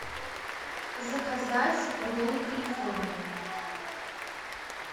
заказать роллы калифорния